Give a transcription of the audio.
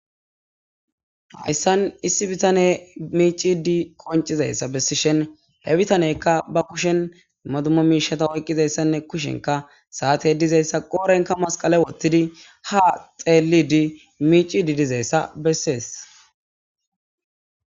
hayssan issi bitane miici di qoncizayssa bessi shen he bitaneykka ba kushen madumo miishata oyqqizayssanne kushenka saate dizayssa qoorenka masqala wottidi ha xeelidi miicidi dizayssa bessees